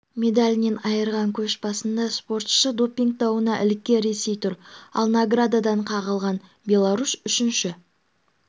медалінен айырған көш басында спортшысы допинг дауына іліккен ресей тұр ал наградадан қағылған беларусь үшінші